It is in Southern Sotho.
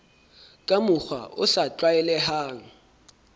ka mokgwa o sa tlwaelehang